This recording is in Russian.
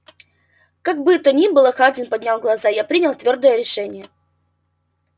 как бы то ни было хардин поднял глаза я принял твёрдое решение